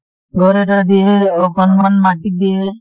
ঘৰ এটা দিয়ে, অকণমান মাটি দিয়ে।